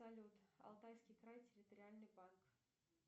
салют алтайский край территориальный банк